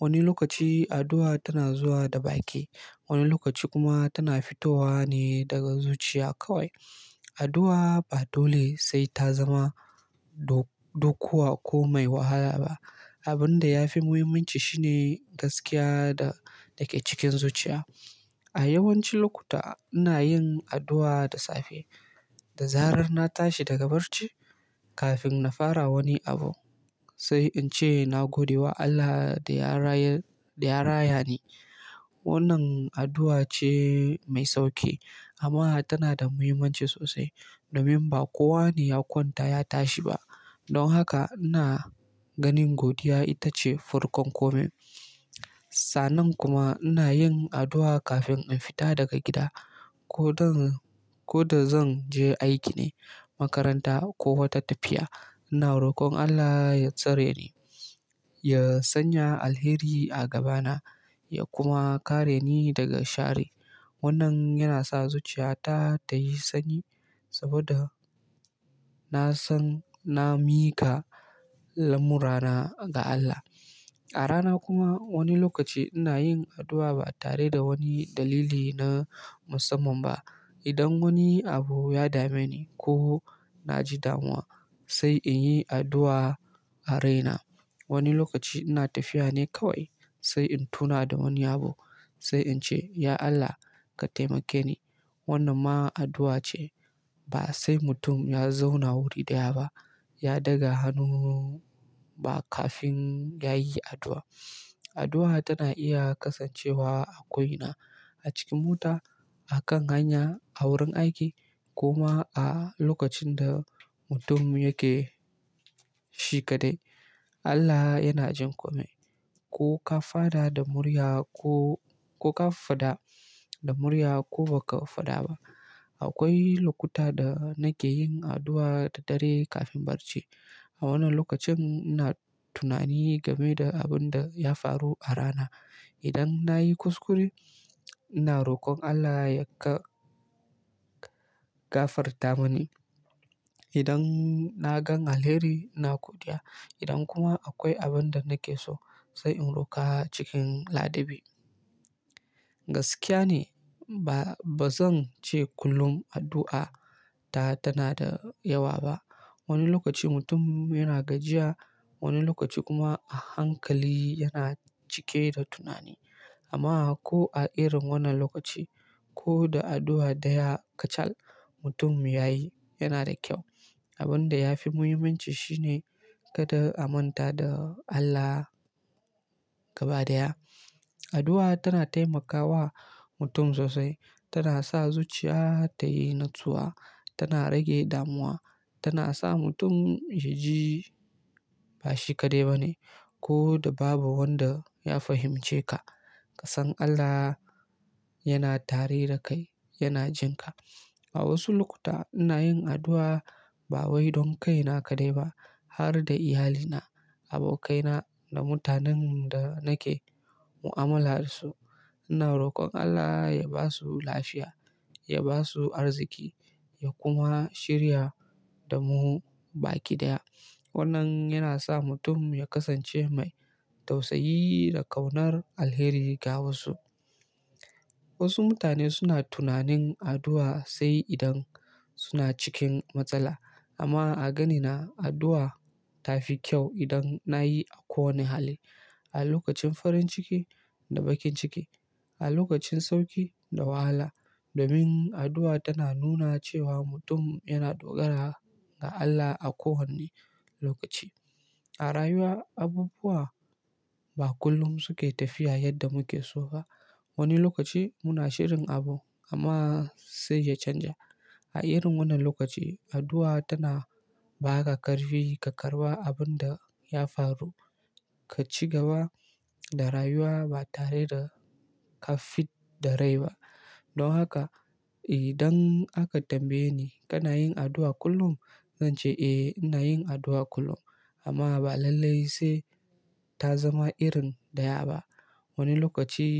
Wani lokaci addu'a tana zuwa da baki, wani lokaci kuma tana fitowa ne daga zuciya kawai. Addu'a ba dole sai ta zama dokuwa ko mai wahala ba. Abin da ya fi muhimmanci shine gaskiya da take cikin zuciya. A yawancin lokuta ina yin addu'a da safe da zarar na tashi daga barci kafin na fara wani abu sai in ce na gode wa Allah da ya rayar, da ya raya ni. Wannan addu'a ce mai sauƙi amma tana da muhimmanci sosai domin ba kowane ya kwanta ya tashi ba. Don haka ina ganin godiya ita ce farkon komai. Sa'annan kuma ina yin addu'a kafin in fita daga gida ko dan ko da zan je aiki ne, makaranta ko wata tafiya. Ina rokon Allah ya tsare ni, ya sanya alheri a gabana ya kuma kare ni daga shari. Wannan yana sa zuciya ta ta yi sanyi saboda na san na miƙa lamurana ga Allah. A rana kuma wani lokaci ina yin addu'a ba tare da wani dalili na musamman ba. Idan wani abu ya dame ni ko na ji damuwa sai in yi addu'a a raina. Wani lokaci ina tafiya ne kawai sai in tuna da wani abu sai in ce "Ya Allah ka taimake ni." Wannan ma addu'a ce. Ba sai mutum ya zauna wuri ɗaya ba ya daga hannu ba kafin ya yi addu'a. Addu'a tana iya kasancewa a ko ina, a cikin mota, a kan hanya, a wurin aiki kuma a lokacin da mutum yake shi kadai. Allah yana jin kome, ko ka faɗa da murya ko ba ka faɗa ba. Akwai lokuta da nake yin addu'a da dare kafin barci. A wannan lokacin ina tunani game da abin da ya faru a rana. Idan na yi kuskure ina rokon Allah ya gafarta mani. Idan na gan alheri ina godiya. Idan kuma akwai abin da nake so sai in roƙa cikin ladabi. Gaskiya ne ba zan ce kullum addu'a tana da yawa ba. Wani lokaci mutum yana gajiya, wani lokaci kuma a hankali yana cike da tunani. Amma ko a irin wannan lokaci ko da addu'a daya kacal mutum ya yi yana da kyau. Abin da ya fi muhimmanci shine kada a manta da Allah gaba daya. Addu'a tana taimakawa mutum sosai, tana sa zuciya ta yi natsuwa, tana rage damuwa, tana sa mutum ya ji ba shi kadai ba ne ko da babu wanda ya fahimce ka. Ka san Allah yana tare da kai yana jin ka. A wasu lokuta ina yin addu'a ba wai don kaina kaɗai ba har da iyalina, abokaina da mutanen da nake mu'amala da su. Ina rokon Allah ya ba su lafiya, ya ba su arziki ya kuma shirya da mu baki ɗaya. Wannan yana sa mutum ya kasance mai tausayi da ƙaunar alheri ga wasu. Wasu mutane suna tunanin addu'a sai idan suna cikin matsala. Amma a ganina addu'a tafi kyau idan na yi a kowani hali. A lokacin farin ciki da bakin ciki, a lokacin sauƙi da wahala domin addu'a tana nuna cewa mutum yana dogara ga Allah a kowane lokaci. A rayuwa abubuwa ba kullum suke tafiya yadda muke so ba. Wani lokaci muna shirin abu amma sai ya canja. A irin wannan lokaci addu'a tana ba ka karfi ka karɓa abin da ya faru ka ci gaba da rayuwa ba tare da ka fidda rai ba. Don haka idan aka tambaye ni kana yin addu'a kullum? Zan ce eh ina yin addu'a kullum amma ba lallai sai ta zama irin da ya ba. Wani lokaci.